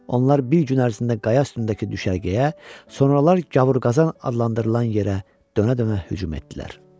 Onlar bir gün ərzində qaya üstündəki düşərgəyə, sonralar Gavurqazan adlandırılan yerə dönə-dönə hücum etdilər.